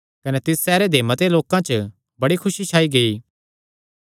कने तिस सैहरे दे मते लोकां च बड़ी खुसी छाई गेई